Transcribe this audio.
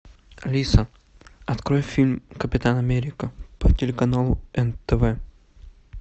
алиса открой фильм капитан америка по телеканалу нтв